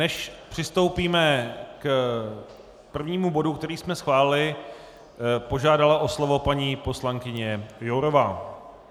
Než přistoupíme k prvnímu bodu, který jsme schválili, požádala o slovo paní poslankyně Jourová.